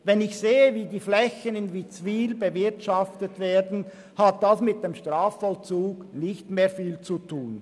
Wenn ich sehe, wie die Flächen in Witzwil bewirtschaftet werden, hat dies mit dem Strafvollzug nicht mehr viel zu tun.